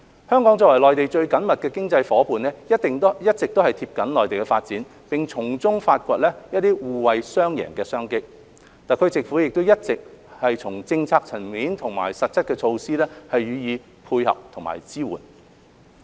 香港作為內地最緊密的經濟夥伴，一直緊貼內地的發展並從中發掘互惠雙贏的商機，特區政府也一直從政策層面和實質措施上予以配合和支援。